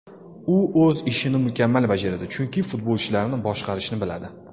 U o‘z ishini mukammal bajaradi, chunki futbolchilarni boshqarishni biladi.